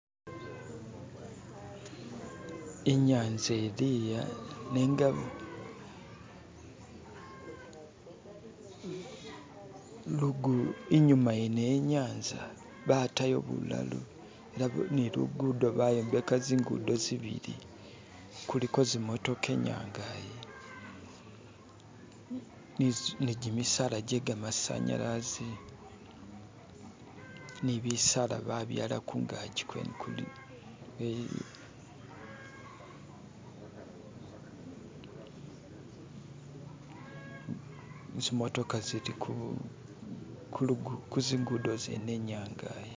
Inyanza ilia nenga lugu, inyuma yene yenyanza batayo bulalo ni lugudo bayombeka zingudo zibili kuliko zimotoka inyangayi ni gimisaala je gamasanyalaze ni bisaala ba byaala kungazi kweene kuli zimotoka zili ku kuzingudo zene inyanga yi.